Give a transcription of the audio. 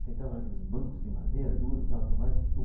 Sentava naqueles bancos de madeira duro e tal, tudo mais.